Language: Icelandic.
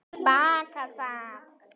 Til baka sat